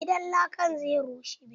Gidan lakan zai rushe.